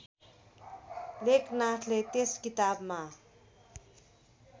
लेखनाथले त्यस किताबमा